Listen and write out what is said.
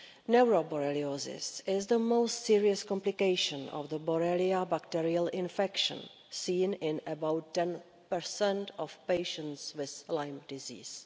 Neuroborreliosis is the most serious complication of the Borrelia bacterial infection, seen in about 10 of patients with Lyme disease.